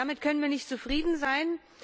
Damit können wir nicht zufrieden sein!